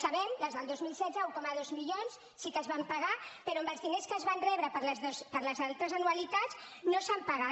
sabem des del dos mil setze que un coma dos milions sí que es van pagar però amb els diners que es van rebre per les altres anualitats no s’han pagat